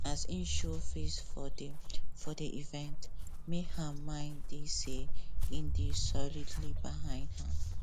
as im show face for the for the evente make her mind dey say im dey solidly behind her